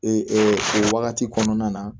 o wagati kɔnɔna na